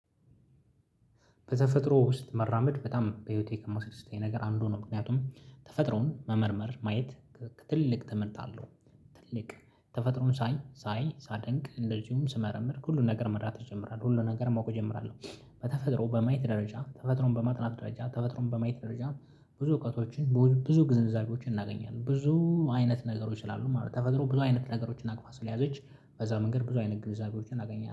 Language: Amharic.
በተፈጥሮ ውስጥ መራመድ በጣም በህይወቴ ከሚያስደስተኝ ነገር አንዱ ነው ምክንያቱም ተፈጥሮን መመርመር ማየት ትልቅ ትምህርት አለው። ትልቅ ተፈጥሮን ሳይ ሳይ ሳደንቅ እንደዚሁም ስመረምር ሁሉን ነገር መረዳት እጀምራለሁ ሁሉን ነገር ማወቅ እጀምራለሁ። በተፈጥሮ በማየት ደረጃ ተፈጥሮን በማጥናት ደረጃ ተፈጥሮን በማየት ደረጃ ብዙ እውቀቶችን ብዙ ግንዛቤዎችን እናገኛለን ብዙ አይነት ነገሮች እላሉ ማለት ነው። ተፈጥሮ ብዙ አይነት ነገሮችን አቅፋ ስለያዘች በዛ መንገድ ብዙ አይነት ግብዛቤዎችን አገኛለሁ